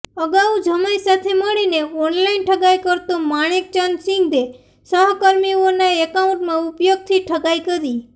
અગાઉ જમાઈ સાથે મળીને ઓનલાઈન ઠગાઈ કરતો માણેકચંદ સિંઘે સહ કર્મીઓના એકાઉન્ટનાં ઉપયોગથી ઠગાઈ કરી